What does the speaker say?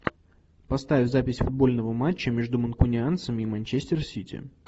поставь запись футбольного матча между манкунианцами и манчестер сити